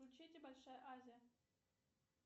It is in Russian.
включите большая азия